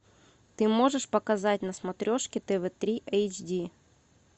ты можешь показать на смотрешке тв три эйч ди